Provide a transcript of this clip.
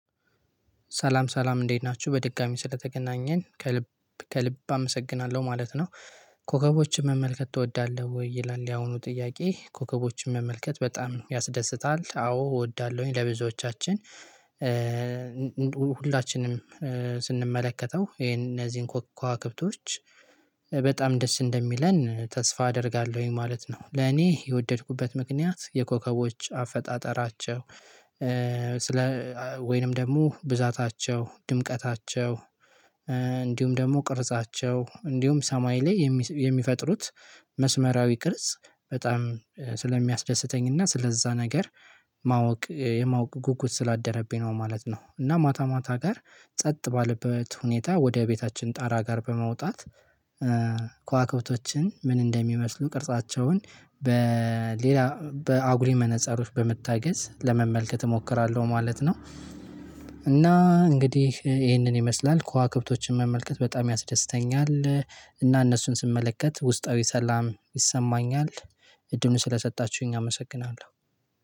ሰላም ሰላም እንዴት ናችሁ በድጋሚ ስለተገናኘን ከልብ ከልብ አመሰግናለሁ ማለት ነው። ኮከቦችን መመልከት እወዳለሁ ወይ ይላል? ያሁኑ ጥያቄ ኮከቦችን መመልከት በጣም ያስደስታል? አዎ እወዳለሁኝ ለብዙዎቻችን ሁላችንም ስንመለከተው ይሄን እነዚህን ኮከብ ከብቶች በጣም ደስ እንደሚለን ተስፋ አደርጋለሁኝ ማለት ነው። ለኔ የወደድኩበት ምክንያት የኮከቦች አፈጣጠራቸው ስለ ወይንም ደግሞ ብዛታቸው ድምቀታቸው እንዲሁም ደግሞ ቅርጻቸው እንዲሁም ሰማይ ላይ የሚፈጥሩት መስመራዊ ቅርጽ በጣም ስለሚያስደስተኝና ስለዛ ነገር ማወቅ የማወቅ ጉጉት ስላደረብኝ ነው ማለት ነው። እና ማታ ማታ ጋር ጸጥ ባለበት ሁኔታ ወደ ቤታችን ጣራ ጋር በመውጣት ከዋክብቶችን ምን እንደሚመስሉ ቅርጻቸውን በሌላ በአጉሪ መነጻሮች በመታገዝ ለመመልከት እሞክራለሁ ማለት ነው። እና እንግዲህ ይህንን ይመስላል ከዋክብቶችን መመልከት በጣም ያስደስተኛል እና እነሱን ስመለከት ውስጣዊ ሰላም ይሰማኛል። እድሜው ስለሰጣችሁኝ አመሰግናለሁ